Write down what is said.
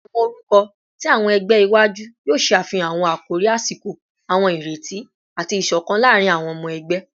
Awọn orukọ ti awọn ẹgbẹ iwaju yoo ṣe afihan awọn akori asiko, awọn ireti, ati isokan laarin awọn ọmọ ẹgbẹ